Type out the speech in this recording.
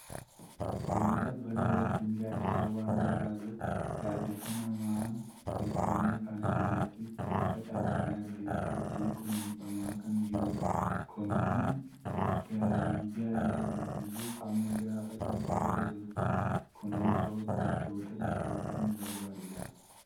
Bunni qabbana yookiin gaaddisa waan barbaaduuf, gaaddisa namaan tolfame kana jalatti facaafamee margee kununfamaa kan jirudha. Bunni kun galii gaarii argamsiisuuf hamma gaafa ija godhatuutti kunuunsa hojjettoota isaa kan barbaadudha.